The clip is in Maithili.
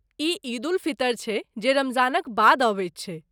ई ईद उल फितर छै जे रमजानक बाद अबैत छैक।